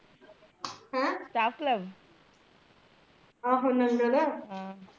ਹੈ ਸਟਾਫ਼ ਕਲੱ ਆਹੋ ਨੰਗਲ਼